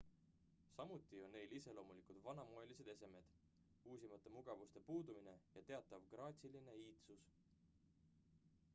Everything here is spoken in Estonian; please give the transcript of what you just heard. samuti on neile iseloomulikud vanamoelised esemed uusimate mugavuste puudumine ja teatav graatsiline iidsus